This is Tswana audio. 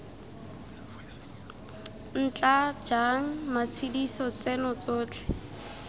ntla jang matshediso tseno tsotlhe